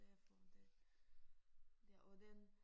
Derfor det ja og den